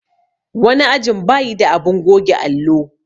wani ajin bayi da abun goge allo.